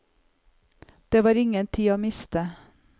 Det var ingen tid å miste.